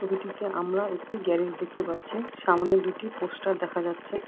ছবিটিতে আমরা একটি গ্যারেজ দেখতে পাচ্ছি সামনে দুটি পোস্টার দেখা যাচ্ছে।